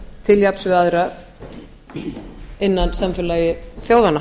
til jafns við aðra innan samfélags þjóðanna